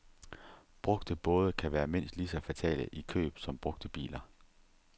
Brugte både kan være mindst lige så fatale i køb som brugte biler.